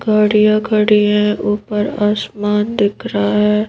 गाड़ियाँ खड़ी हैं ऊपर आसमान दिख रहा है।